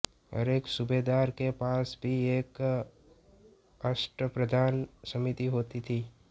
हरेक सूबेदार के पास भी एक अष्टप्रधान समिति होती थी